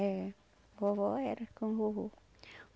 É. Vovó era com o vovô.